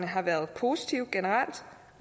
har været positive